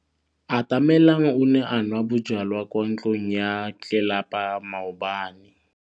Atamelang o ne a nwa bojwala kwa ntlong ya tlelapa maobane.